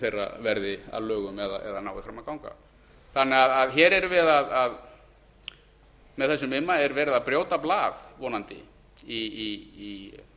þeirra verði að lögum eða nái fram að ganga með þessum imma er verið að brjóta blað vonandi í